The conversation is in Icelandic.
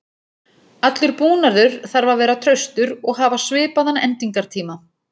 Allur búnaður þarf að vera traustur og hafa svipaðan endingartíma.